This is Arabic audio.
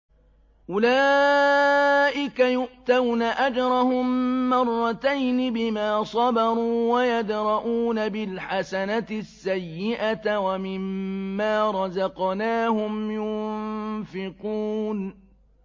أُولَٰئِكَ يُؤْتَوْنَ أَجْرَهُم مَّرَّتَيْنِ بِمَا صَبَرُوا وَيَدْرَءُونَ بِالْحَسَنَةِ السَّيِّئَةَ وَمِمَّا رَزَقْنَاهُمْ يُنفِقُونَ